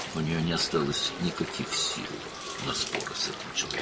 Onun bu adamla mübahisə etməyə heç bir gücü qalmamışdı.